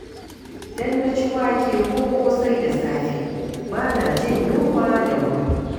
Idan na ci wake ko ƙosai da safe, ba na jin yunwa da wuri.